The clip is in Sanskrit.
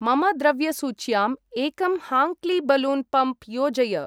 मम द्रव्यसूच्यां एकं हाङ्क्ली बलून् पम्प् योजय।